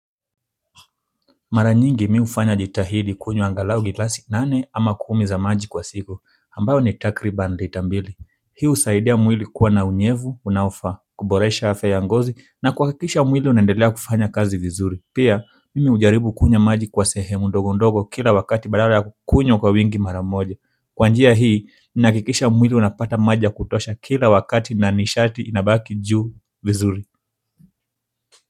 Mara nyingi mi hufanya jitahidi kunywa angalao gilasi nane ama kumi za maji kwa siku ambao ni takriban lita mbili hii husaidia mwili kuwa na unyevu, unaofaa, kuboresha afya ya ngozi na kuhakikisha mwili unendelea kufanya kazi vizuri pia mimi hujaribu kunywa maji kwa sehemu ndogo ndogo kila wakati badala ya kukunywa kwa wingi mara moja kwa njia hii, ninahakikisha mwili unapata maji kutosha kila wakati na nishati inabaki juu vizuri.